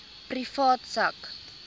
privaat sak